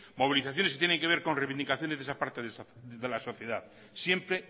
movilizaciones que tiene que ver con reivindicaciones de esa parte de la sociedad siempre